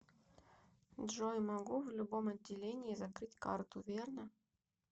джой могу в любом отделении закрыть карту верно